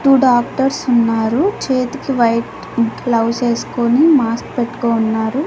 To doctors ఉన్నారు చేతికి white gloves వేసుకొని మాస్ పెట్టుకో ఉన్నారు.